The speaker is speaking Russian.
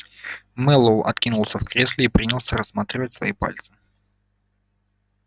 мэллоу откинулся в кресле и принялся рассматривать свои пальцы